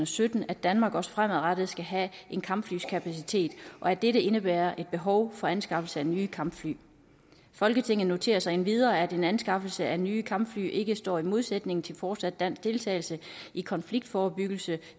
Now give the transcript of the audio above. sytten at danmark også fremadrettet skal have en kampflykapacitet og at dette indebærer et behov for anskaffelse af nye kampfly folketinget noterer sig endvidere at en anskaffelse af nye kampfly ikke står i modsætning til fortsat dansk deltagelse i konfliktforebyggelse